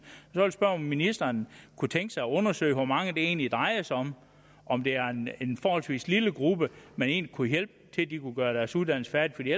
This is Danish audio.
så jeg vil spørge ministeren om kunne tænke sig at undersøge hvor mange det egentlig drejer sig om om det er en forholdsvis lille gruppe man egentlig kunne hjælpe så de kunne gøre deres uddannelse færdig